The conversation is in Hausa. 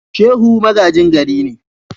Shehu magajin gari ne.